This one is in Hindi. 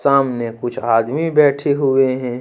सामने कुछ आदमी बैठे हुए हैं।